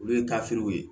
Olu ye ye